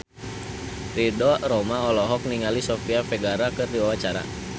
Ridho Roma olohok ningali Sofia Vergara keur diwawancara